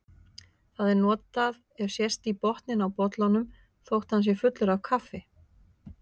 Það er notað ef sést í botninn á bollanum þótt hann sé fullur af kaffi.